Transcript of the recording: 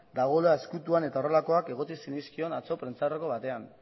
dagoela ezkutuan eta horrelakoak egotzi zenizkion atzo prentsaurreko batean